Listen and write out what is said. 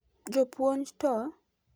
Jopuonj to?